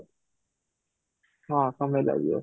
ହଁ, ସମୟ ଲାଗିବ